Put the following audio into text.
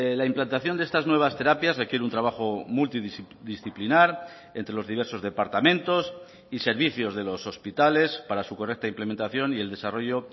la implantación de estas nuevas terapias requiere un trabajo multidisciplinar entre los diversos departamentos y servicios de los hospitales para su correcta implementación y el desarrollo